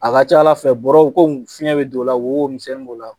A ka ca Ala fɛ bɔrɔw fiɲɛ bɛ d'o la wo wo misɛnni b'o la